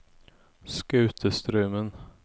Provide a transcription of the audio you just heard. Skatestraumen